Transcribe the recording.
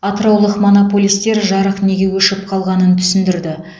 атыраулық монополистер жарық неге өшіп қалғанын түсіндірді